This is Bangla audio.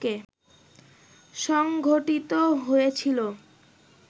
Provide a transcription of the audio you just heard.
সংঘটিত হয়েছিল